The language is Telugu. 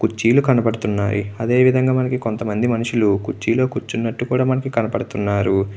కుర్చీలు కనబడుతున్నాయి అదే విధంగా మనకు కొంతమంది మనుషులు కుర్చీలో కూర్చున్నట్టు కూడా మనకి కనబడుతున్నారు.